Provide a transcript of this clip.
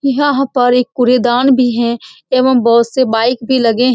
यहाँ-हाँ पर एक कूड़ेदान भी है एवं से बाइक भी लगे --